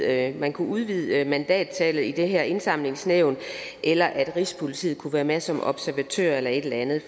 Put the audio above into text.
at man kunne udvide mandattallet i det her indsamlingsnævn eller at rigspolitiet kunne være med som observatør eller et eller andet